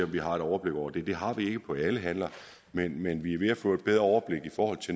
vi har et overblik over det det har vi ikke på alle handler men men vi er ved at få et bedre overblik